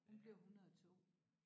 Hun blev 102